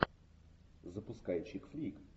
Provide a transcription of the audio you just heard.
запускай чик флик